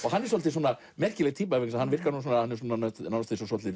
hann er svolítið merkileg týpa því hann er svolítið